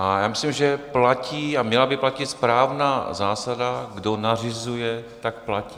A já myslím, že platí a měla by platit správná zásada, kdo nařizuje, tak platí.